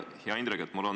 Hea Indrek!